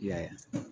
I y'a ye